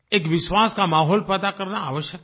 एक विश्वास का माहौल पैदा करना आवश्यक है